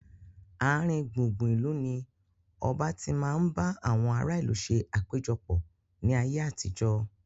Aarin gbùngbùn ìlú ni ọba tí máa ń bá àwọn ará ìlú ṣe àpéjọpọ̀ ni ayé àtijọ́